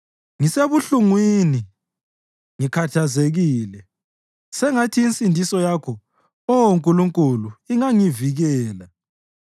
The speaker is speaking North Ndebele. Ngisebuhlungwini, ngikhathazekile; sengathi insindiso yakho, Oh Nkulunkulu ingangivikela.